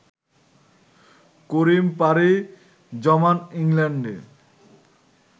করিম পাড়ি জমান ইংল্যান্ডে